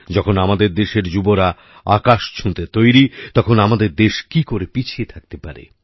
যখন আমাদের দেশের যুবরা আকাশ ছুতে তৈরি তখন আমাদের দেশ কি করে পিছিয়ে থাকতে পারে